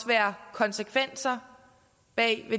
være konsekvenser af